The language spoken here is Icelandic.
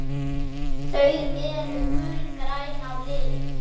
Þau eru gulgræn á lit.